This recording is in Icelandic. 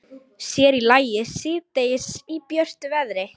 Sér í lagi síðdegis í björtu veðri.